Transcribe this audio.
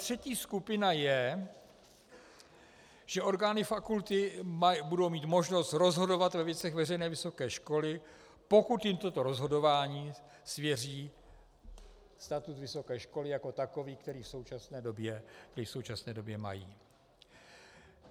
Třetí skupina je, že orgány fakulty budou mít možnost rozhodovat ve věcech veřejné vysoké školy, pokud jim toto rozhodování svěří statut vysoké školy jako takový, který v současné době mají.